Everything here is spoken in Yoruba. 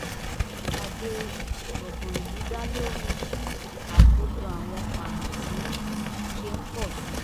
ìpàdé gbọ̀ngàn ìlú dá lórí bí àkójọ àwọn pàǹtírí ṣe ń pọ̀ síi